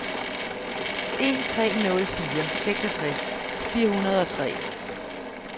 en tre nul fire seksogtres fire hundrede og tre